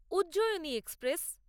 Ujjayini express